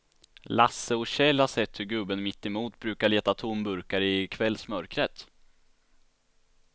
Lasse och Kjell har sett hur gubben mittemot brukar leta tomburkar i kvällsmörkret.